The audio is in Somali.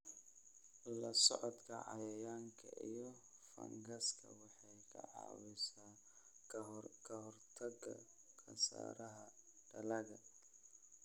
la socodka cayayaanka iyo fangaska waxay ka caawisaa ka hortagga khasaaraha dalagga.